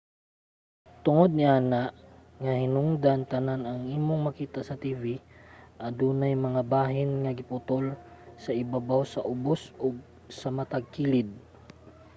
tungod niana nga hinungdan tanan nga imong makita sa tv adunay mga bahin nga giputol sa ibabaw sa ubos ug sa matag kilid